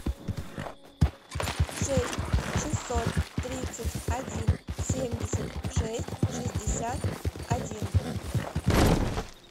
шесть шестьсот тридцать один семьдесят шесть шестьдесят один